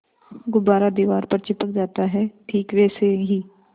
गुब्बारा दीवार पर चिपक जाता है ठीक वैसे ही